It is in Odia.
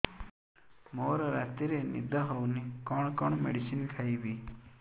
ମୋର ରାତିରେ ନିଦ ହଉନି କଣ କଣ ମେଡିସିନ ଖାଇବି